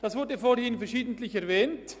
das wurde vorhin verschiedentlich erwähnt.